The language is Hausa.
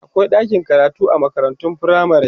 akwai ɗakin karatu a makarantun firamare